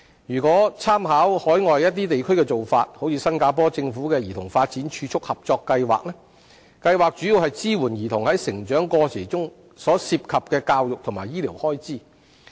如果參考海外一些地區的做法如新加坡政府的兒童發展儲蓄合作計劃，計劃主要支援兒童在成長過程中所涉及的教育及醫療開支。